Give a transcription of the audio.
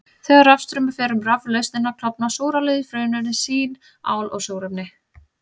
Þegar rafstraumur fer um raflausnina klofnar súrálið í frumefni sín, ál og súrefni.